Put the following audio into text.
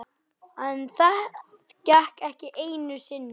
En það gekk ekki einu sinni.